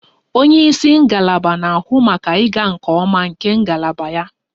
Onye isi ngalaba na-ahụ maka ịga nke ọma nke ngalaba ya / ya